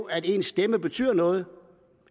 at ens stemme betyder noget